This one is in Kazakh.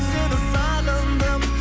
сені сағындым